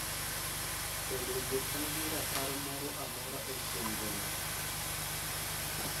to bende an gi rapar moro amora e chenrona